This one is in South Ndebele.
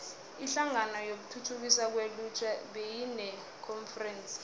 inhlangano yokuthuthukiswa kwelutjha beyinekonferense